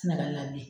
Sɛnɛgali labila